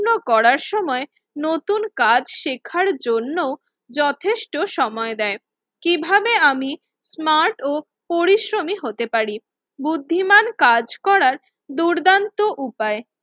করার সময় নতুন কাজ শেখার জন্য যথেষ্ট সময় দেয়। কিভাবে আমি স্মার্ট ও পরিশ্রমী হতে পার? বুদ্ধিমান কাজ করার দুর্দান্ত উপায়,